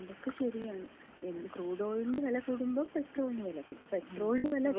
അതൊക്കെ ശരിയാണ്. ക്രൂഡ് ഓയിലിന് വെല കൂടുമ്പോ പെട്രോളിന് വെല കൂടും. പെട്രോളിന് വെല കൂടുമ്പോ